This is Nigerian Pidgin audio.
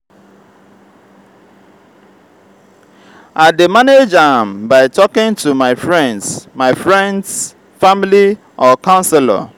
i dey manage am by talking to my friends my friends family or counselor.